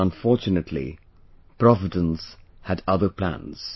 But unfortunately, providence had other plans